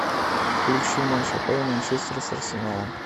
включи матч апл манчестер с арсеналом